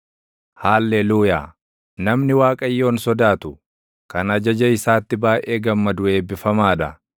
Haalleluuyaa. Namni Waaqayyoon sodaatu, kan ajaja isaatti baayʼee gammadu eebbifamaa dha.